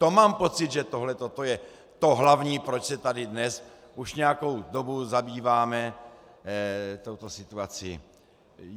To mám pocit, že to je to hlavní, proč se tady dnes už nějakou dobu zabýváme touto situací.